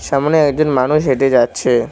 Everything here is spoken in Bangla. সামনে একজন মানুষ হেঁটে যাচ্ছে।